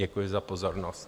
Děkuji za pozornost.